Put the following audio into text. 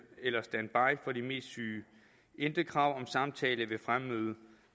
eller standby for de mest syge intet krav om samtale ved fremmøde